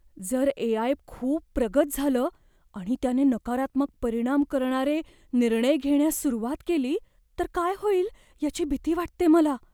जर A. I. खूप प्रगत झालं आणि त्याने नकारात्मक परिणाम करणारे निर्णय घेण्यास सुरुवात केली तर काय होईल याची भीती वाटते मला.